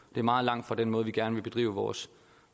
det er meget langt fra den måde vi gerne vil bedrive vores